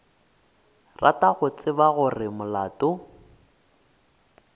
rata go tseba gore molato